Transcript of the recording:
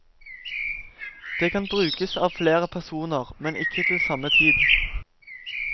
Det kan brukes av flere personer, men ikke til samme tid.